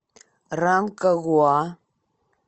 ранкагуа